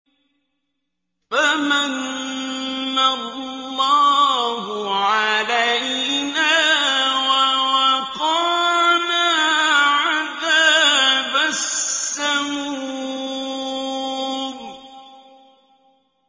فَمَنَّ اللَّهُ عَلَيْنَا وَوَقَانَا عَذَابَ السَّمُومِ